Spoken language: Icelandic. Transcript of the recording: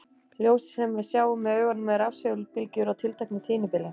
Ljósið sem við sjáum með augunum er rafsegulbylgjur á tilteknu tíðnibili.